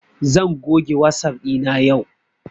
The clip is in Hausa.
Zan goge wasap ɗina yau